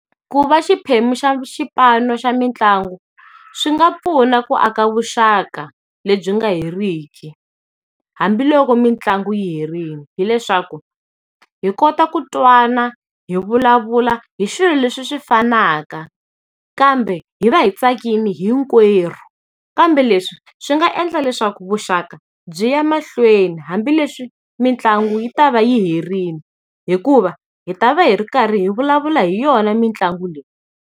Ku va xiphemu xa xipano xa mitlangu, swi nga pfuna ku aka vuxaka lebyi nga heriki, hambiloko mitlangu yi herile. Hi leswaku, hi kota ku twana, hi vulavula hi swilo leswi swi fanaka, kambe hi va hi tsakile hinkwerhu. Kambe leswi swi nga endla leswaku vuxaka byi ya mahlweni hambileswi mitlangu yi ta va yi herile, hikuva hi ta va hi ri karhi hi vulavula hi yona mitlangu leyi.